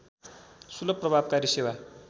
सुलभ प्रभावकारी सेवा